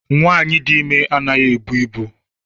Nwaanyi dị ime anaghị ebu ibu.